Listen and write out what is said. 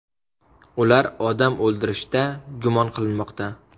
Ular odam o‘ldirishda gumon qilinmoqda.